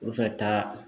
Olu fɛ taa